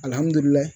Alihamudulila